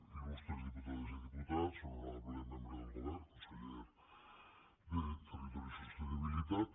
il·lustres diputades i diputats honorable membre del govern conseller de territori i sostenibilitat